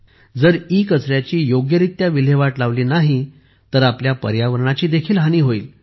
जर ईकचऱ्याची योग्यरित्या विल्हेवाट लावली नाही तर आपल्या पर्यावरणाचीही हानी होईल